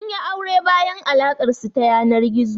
Sun yi aure bayan alaƙar su ta yanar gizo.